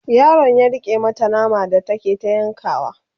yaron ya rike mata nama da take ta yankawa